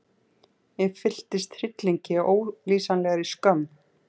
Ég fylltist hryllingi og ólýsanlegri skömm.